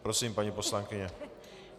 Prosím, paní poslankyně.